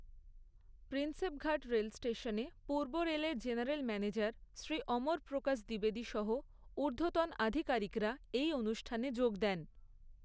প্রিন্সেপঘাট রেলস্টেশনে পূর্ব রেলের general manager Shri অমর প্রকাশ দ্বিবেদী সহ ঊর্ধ্বতন আধিকারিকরা এই অনুষ্ঠানে যোগ দেন।